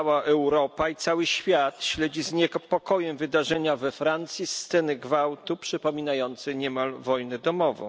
Cała Europa i cały świat śledzą z niepokojem wydarzenia we Francji, sceny gwałtu przypominające niemal wojnę domową.